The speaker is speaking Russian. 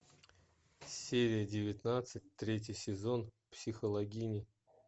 серия девятнадцать третий сезон психологини